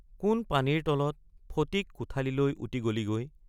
কোন পানীৰ তলত ফটিক কোঠালিলৈ উটি গলি গৈ?